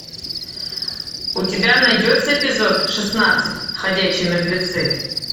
у тебя найдется эпизод шестнадцать ходячие мертвецы